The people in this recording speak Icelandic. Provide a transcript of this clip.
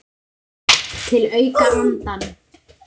Til að auka andann.